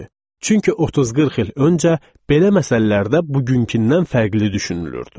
Çünki 30-40 il öncə belə məsələlərdə bugünküdən fərqli düşünülürdü.